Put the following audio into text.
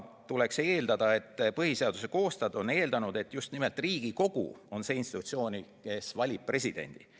Tuleks eeldada, et põhiseaduse koostajad on eeldanud, et just nimelt Riigikogu on see institutsioon, kes valib presidendi.